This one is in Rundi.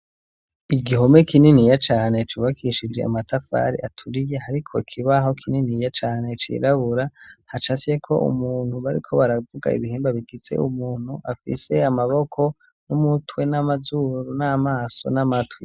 Igihome kininiya cane cubakishije amatafari aturiye, hariko ikibaho kininiya cane cirabura, hacafyeko umuntu bariko baravuga ibihimba bigize umuntu afise amaboko n'umutwe n'amazuru, n'amaso n'amatwi.